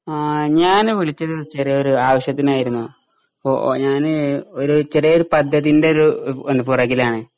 ആ ഞ്യാന് വിളിച്ചത് ചെറിയൊര് ആവശ്യത്തിനായിരുന്നു. ഞ്യാന് ഒര് ചെറിയൊരു പദ്ധതീൻ്റെ ഒരു ഏഹ് പിന്നെ പൊറകിലാണ്.